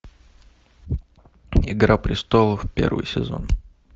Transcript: игра престолов первый сезон